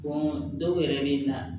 dɔw yɛrɛ bɛ na